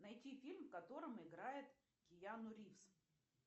найти фильм в котором играет киану ривз